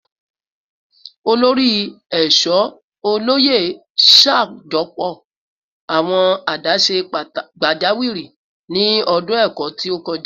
Olori Eesho Oloye ṣajọpọ awọn adaṣe pajawiri ni ọdun ẹkọ ti o kọja